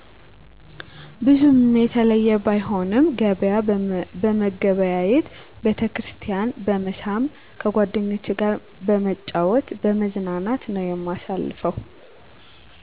ብዙም የተለዬ ባይሆንም ገበያ በመገበያየት፣ ቤተክርስቲያን በመሳም፣ ከጓደኞቼ ጋር በመጫወት በመዝናናት ነዉ የማሳልፈው